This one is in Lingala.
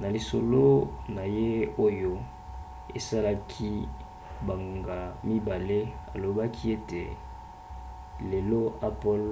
na lisolo na ye oyo esalaki bangonga 2 alobaki ete lelo apple